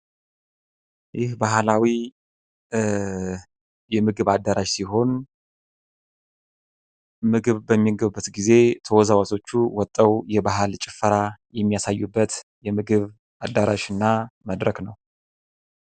ይህ ባህላዊ የምግብ አዳራሽ ሲሆን ምግብ በሚመገቡበት ጊዜ ተወዛዋዦቹ ወተው የባህል ጭፈራ የሚያሳዩበት የምግብ አዳራሽ እና መድረክ ነው።